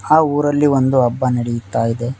ಆ ಊರಲ್ಲಿ ಒಂದು ಹಬ್ಬ ನಡೆಯುತ್ತಾ ಇದೆ.